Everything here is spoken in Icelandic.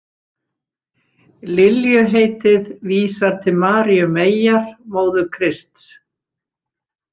Liljuheitið vísar til Maríu meyjar, móður Krists.